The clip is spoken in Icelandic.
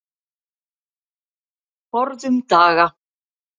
Forðum daga.